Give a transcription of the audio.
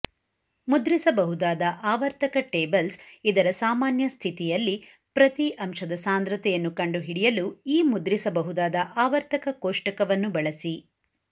ಮುದ್ರಿಸಬಹುದಾದ ಆವರ್ತಕ ಟೇಬಲ್ಸ್ ಇದರ ಸಾಮಾನ್ಯ ಸ್ಥಿತಿಯಲ್ಲಿ ಪ್ರತಿ ಅಂಶದ ಸಾಂದ್ರತೆಯನ್ನು ಕಂಡುಹಿಡಿಯಲು ಈ ಮುದ್ರಿಸಬಹುದಾದ ಆವರ್ತಕ ಕೋಷ್ಟಕವನ್ನು ಬಳಸಿ